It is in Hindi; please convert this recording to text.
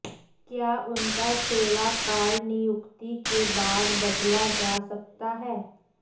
क्या उनका सेवा काल नियुक्ति के बाद बदला जा सकता है